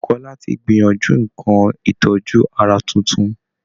Bùkọ́lá ti gbìyànjú nǹkan ìtọ́jú ara tuntun